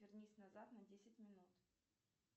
вернись назад на десять минут